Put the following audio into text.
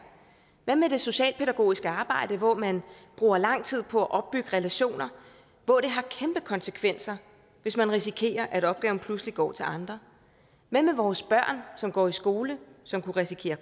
hvad med det socialpædagogiske arbejde hvor man bruger lang tid på at opbygge relationer og hvor det har kæmpe konsekvenser hvis man risikerer at opgaven pludselig går til andre hvad med vores børn som går i en skole som kunne risikere